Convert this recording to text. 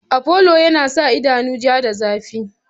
Afolo yana sa idanu ja da zafi.